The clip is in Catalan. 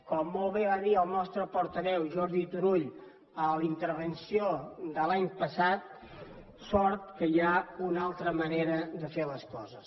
com molt bé va dir el nostre portaveu jordi turull en la intervenció de l’any passat sort que hi ha una altra manera de fer les coses